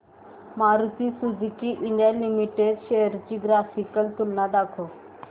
Maruti Suzuki India limited shares ची graphical तुलना दाखव